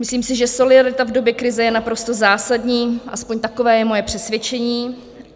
Myslím si, že solidarita v době krize je naprosto zásadní, aspoň takové je moje přesvědčení.